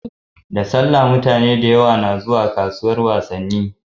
Da sallah mutane da yawa na zuwa kasuwar wasanni